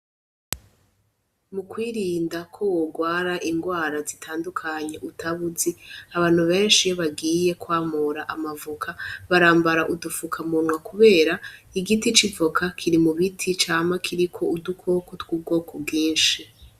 Mu kwirinda ko wogwara ingwara zitandukanye utaba uzi abantu benshi iyo bagiye kwamura ama voka barambara udu fukamunwa kubera igiti c'ivoka kiri mu biti cama kiriko udukoko tw'ubwoko bwinshi.